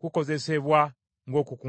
kukozesebwa ng’okukungubaga.”